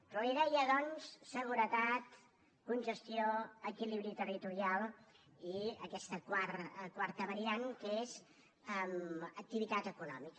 però li deia doncs seguretat congestió equilibri territorial i aquesta quarta variant que és activitat econòmica